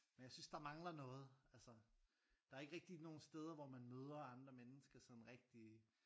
Men jeg synes der mangler noget altså der er ikke rigtig nogen steder hvor man møder andre mennesker sådan rigtig